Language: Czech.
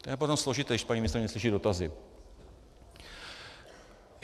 To je potom složité, když paní ministryně neslyší dotazy...